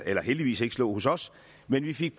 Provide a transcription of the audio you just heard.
heldigvis ikke slå hos os men vi fik